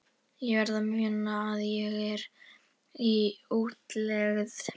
Ég verð að muna að ég er í útlegð.